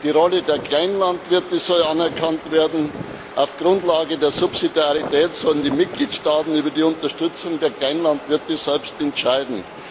Die Rolle der Kleinlandwirte soll anerkannt werden, auf Grundlage der Subsidiarität sollen die Mitgliedstaaten über die Unterstützung der Kleinlandwirte selbst entscheiden.